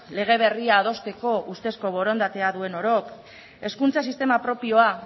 lege berria adosteko ustezko borondatea duen orok hezkuntza sistema propioa